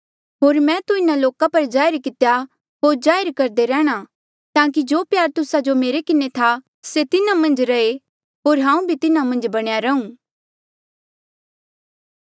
होर मैं तू तिन्हा लोका पर जाहिर कितेया होर जाहिर करदे रैंह्णां ताकि जो प्यार तुस्सा जो मेरे किन्हें था से तिन्हा मन्झ रहे होर हांऊँ भी तिन्हा मन्झ बणया रहूं